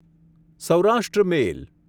Saurashtra મેલ